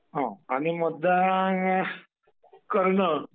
हा आणि मतदान करणे...